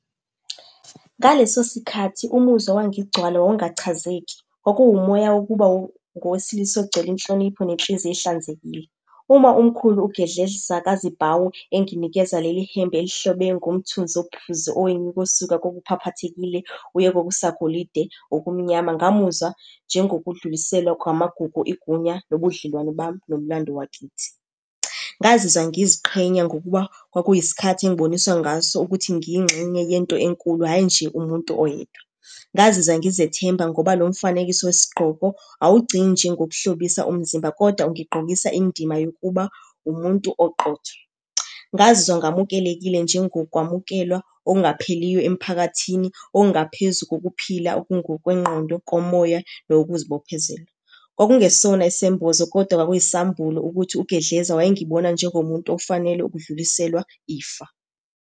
Ngaleso sikhathi umuzwa owangigcwala wawungachazeki. Kwakumoya wokuba ngowesilisa ogcwele inhlonipho nenhliziyo ehlanzekile. Uma umkhulu uGedleza kaZibhawu enginikeza leli hembe elihlobe ngomthunzi ophuzi kokuphaphathekile, uye kokusagolide okumnyama ngamuzwa njengokudluliselwa kwamagugu, igunya nobudlelwane bami nomlando wakithi. Ngazizwa ngiziqhenya ngokuba kwakuyisikhathi engiboniswa ngaso ukuthi ngiyingxenye yento enkulu, hhayi nje umuntu oyedwa. Ngazizwa ngizethemba ngoba lo mfanekiso wesigqoko, awugcini nje ngokuhlobisa umzimba, koda ungigqokisa indima yokuba umuntu oqotho. Ngazizwa ngamukelekile njengokwamukelwa okungapheliyo emphakathini, okungaphezu kokuphila okungokwengqondo, komoya, nowokuzibophezela. Kwakungesona isembozo koda kwakuyisambulo ukuthi uGedleza wayengibona njengomuntu ofanele ukudluliselwa ifa.